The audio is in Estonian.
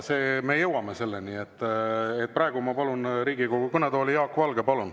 Jaa, me jõuame selleni, praegu ma palun Riigikogu kõnetooli Jaak Valge.